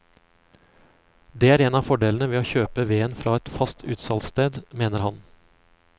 Det er en av fordelene ved å kjøpe veden fra et fast utsalgssted, mener han.